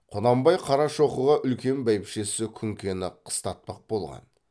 құнанбай қарашоқыға үлкен бәйбішесі күнкені қыстатпақ болған